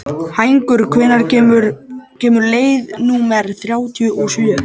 Hængur, hvenær kemur leið númer þrjátíu og sjö?